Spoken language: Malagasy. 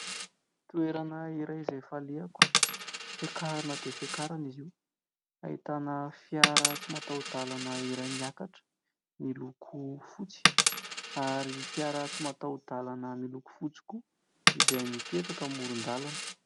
Toerana iray izay falehako, fiakarana dia fiakarana izy io, ahitana fiara tsy matahodalana iray miakatra; miloko fotsy ary fiara tsy matahodalana miloko fotsy koa, izay mipetraka amoron-dalana.